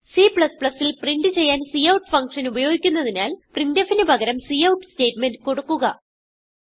Cൽ print ചെയ്യാൻ കൌട്ട്ൽട്ട്ല്റ്റ് function ഉപയോഗിക്കുന്നതിനാൽ printfന് പകരം കൌട്ട് സ്റ്റേറ്റ്മെന്റ് കൊടുക്കുക